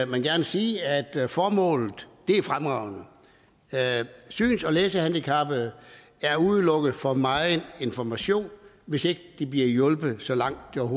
vil gerne sige at formålet er fremragende syns og læsehandicappede er udelukket fra meget information hvis ikke de bliver hjulpet så langt det